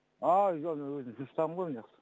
ааа жоқ жоқ мен өзім жұмыстамын ғой